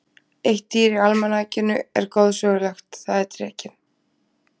Eitt dýr í almanakinu er goðsögulegt, það er drekinn.